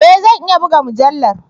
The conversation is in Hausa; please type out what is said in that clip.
E! Zan iya buga mujallar.